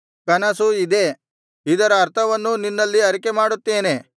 ಕನಸು ಇದೇ ಇದರ ಅರ್ಥವನ್ನೂ ನಿನ್ನಲ್ಲಿ ಅರಿಕೆಮಾಡುತ್ತೇನೆ